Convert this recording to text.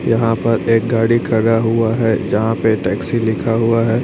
यहां पर एक गाड़ी खड़ा हुआ है जहां पे टैक्सी लिखा हुआ है।